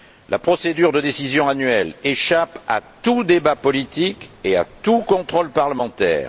La procédure de décision annuelle échappe à tout débat politique et à tout contrôle parlementaire.